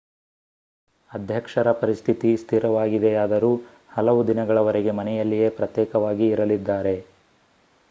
ಅಧ್ಯಕ್ಷರ ಪರಿಸ್ಥಿತಿ ಸ್ಥಿರವಾಗಿದೆಯಾದರೂ ಹಲವು ದಿನಗಳವರೆಗೆ ಮನೆಯಲ್ಲಿಯೇ ಪ್ರತ್ಯೇಕವಾಗಿ ಇರಲಿದ್ದಾರೆ